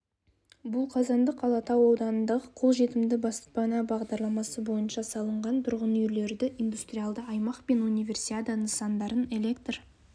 бұл қазандық алатау ауданындағы қолжетімді баспана бағдарламасы бойынша салынған тұрғынүйлерді индустрияалды аймақ пен универсиада нысандарын электр